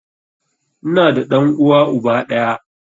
Ina da ɗan uwa uba ɗaya